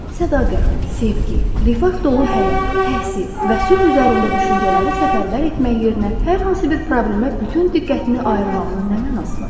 Sədaqət, sevgi, rifah dolu həyat, təhsil və sülh üzərində düşüncələri səfərbər etmək yerinə hər hansı bir problemə bütün diqqətini ayırmağının nə mənası var?